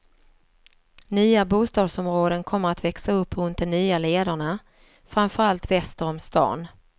Nya bostadsområden kommer att växa upp runt de nya lederna, framför allt väster om stan.